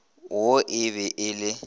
wo e be e le